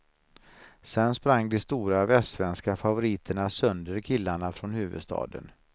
Sen sprang de stora västsvenska favoriterna sönder killarna från huvudstaden.